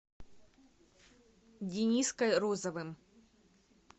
дениской розовым